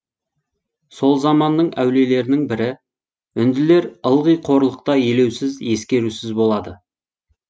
сол заманның әулиелерінің бірі үнділер ылғи қорлықта елеусіз ескерусіз болады